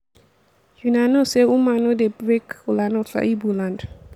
una no say woman no dey break kola nut for igbo land